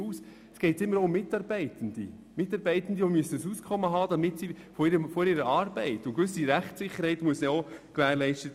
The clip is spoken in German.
Es geht immer auch um Mitarbeitende, die von ihrer Arbeit ein Auskommen und eine gewisse Rechtssicherheit haben müssen.